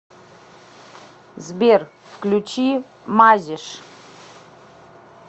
сбер включи мазиш